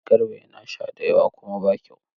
Garba yana sha da yawa kuma ba kyau.